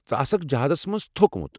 ژٕ آسکھ جہازَس مَنٛز تھوٚکمُت۔